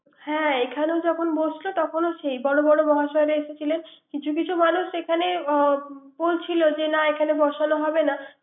হ্যা এখানো যখন বসছে তখন বর বর মহাসয়রা এসেছিলেন। কিছু কিছূ মানুষ এখানে বলছিল যে না এখানে বসানো হবে না